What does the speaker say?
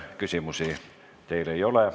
Küsimusi teile ei ole.